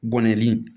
Gɔni